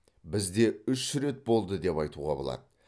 бізде үш рет болды деп айтуға болады